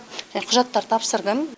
құжаттар тапсырдым